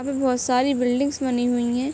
यहाँ पे बहुत सारी बिल्डिंग्स बनी हुई हैं।